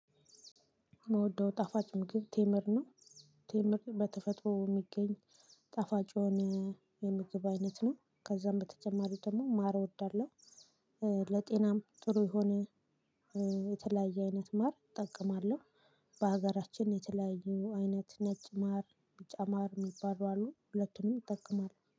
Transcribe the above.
ምውደው ጣፋጭ ምግብ ቴምር ነው። ቴምር በተፈጥሮ እሚገኝ ጣፋጭ የሆነ የምግብ አይነት ነው። ከዛም በተጨማሪ ደሞ ማር እወዳለሁ። እ ለጤናም ጥሩ የሆነ እ የተለያየ አይነት ማር እጠቀማለሁ። በሀገራችን የተለያዩ አይነት ነጭ ማር፣ ቢጫ ማር እሚባሉ አሉ። ሁለቱንም ይጠቀማለው።